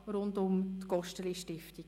» rund um die Gosteli-Stiftung.